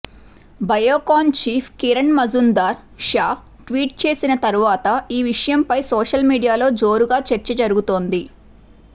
Biocon chief Kiran Mazumdar Shaw tweet చేసిన తరువాత ఈ విషయంపై సోషల్ మీడియాలో జోరుగా చర్చ జరుగుతోంది